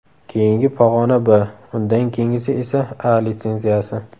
Keyingi pog‘ona B, undan keyingisi esa A litsenziyasi.